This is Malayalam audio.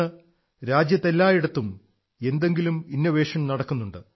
ഇന്ന് രാജ്യത്ത് എല്ലായിടത്തും എന്തെങ്കിലും ഇന്നോവേഷൻ നടക്കുന്നുണ്ട്